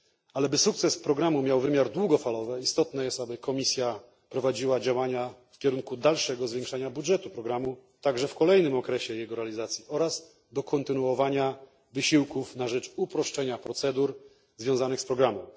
Ale aby sukces programu miał wymiar długofalowy, istotne jest, by Komisja prowadziła działania w kierunku dalszego zwiększania budżetu programu, także w kolejnym okresie jego realizacji, oraz kontynuowała wysiłki na rzecz uproszczenia procedur związanych z programem.